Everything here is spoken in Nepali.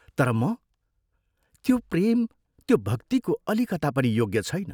तर म त्यो प्रेम त्यो भक्तिको अलिकता पनि योग्य छैन।